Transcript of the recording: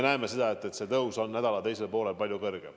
See on ikka nii olnud, et tõus on nädala teisel poolel palju suurem.